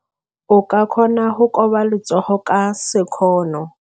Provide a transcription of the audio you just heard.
O ka kgona go koba letsogo ka sekgono.